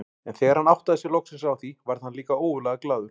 En þegar hann áttaði sig loksins á því varð hann líka ógurlega glaður.